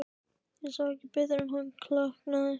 Ég sá ekki betur en að hann klökknaði.